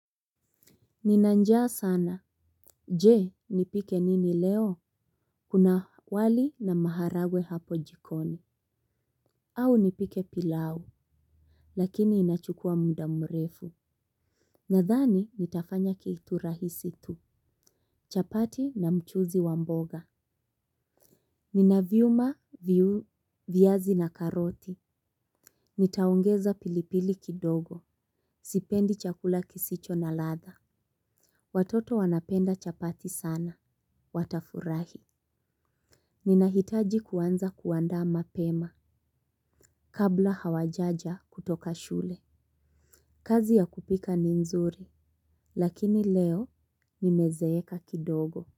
Nina njaa sana. Je, nipike nini leo? Kuna wali na maharagwe hapo jikoni. Au nipike pilau. Lakini inachukua muda mrefu. Nadhani, nitafanya kitu rahisi tu. Chapati na mchuzi wa mboga. Nina vyuma, viazi na karoti. Nitaongeza pilipili kidogo. Sipendi chakula kisicho na ladha. Watoto wanapenda chapati sana. Watafurahi. Ninahitaji kuanza kuandaa mapema kabla hawajaja kutoka shule. Kazi ya kupika ni nzuri, lakini leo nimezeeka kidogo.